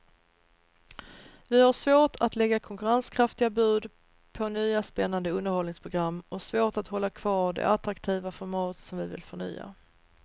Vi har svårt att lägga konkurrenskraftiga bud på nya spännande underhållningsprogram och svårt att hålla kvar de attraktiva format som vi vill förnya.